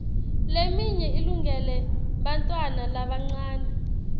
leminye ilungele bantfwana labancane